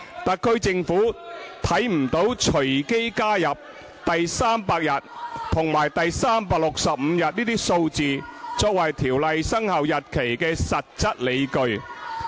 特區政府看不到隨機加入第300日和第365日這些數字作為條例生效日期的實質理據。